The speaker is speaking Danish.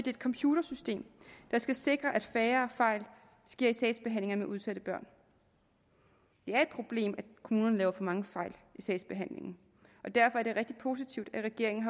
et computersystem der skal sikre at færre fejl sker i sagsbehandlingen af udsatte børn det er et problem at kommunerne laver for mange fejl i sagsbehandlingen derfor er det rigtig positivt at regeringen